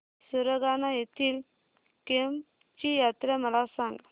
सुरगाणा येथील केम्ब ची यात्रा मला सांग